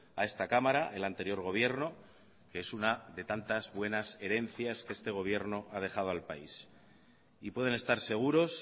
a esta cámara el anterior gobierno que es una de tantas buenas herencias que este gobierno ha dejado al país y pueden estar seguros